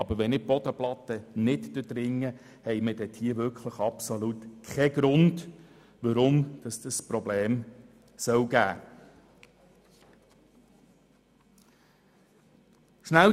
Wird die Bodenplatte nicht durchdrungen, besteht absolut kein Grund, weshalb ein Problem auftreten könnte.